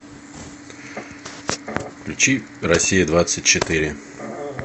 включи россия двадцать четыре